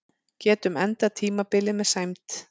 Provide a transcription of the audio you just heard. Getum endað tímabilið með sæmd